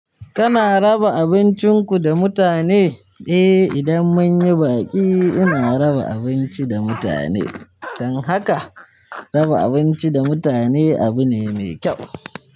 Kana raba abincin ku da mutane? Eh idan munyi baƙi ina raba abinci da mutane. Dan haka raba abinci da mutane abu ne mai kyau.